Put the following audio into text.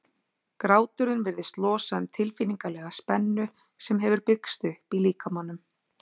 Gráturinn virðist losa um tilfinningalega spennu sem hefur byggst upp í líkamanum.